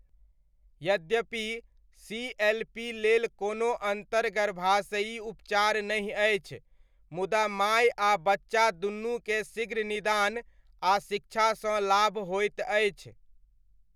यद्यपि सीएलपी लेल कोनो अन्तर्गर्भाशयी उपचार नहि अछि मुदा माय आ बच्चा दूनूकेँ शीघ्र निदान आ शिक्षासँ लाभ होइत अछि।